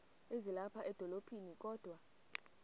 ezilapha edolophini kodwa